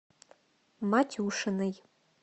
матюшиной